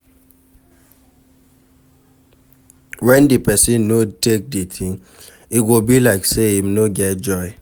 When di person no take di thing, e go be like sey im no get joy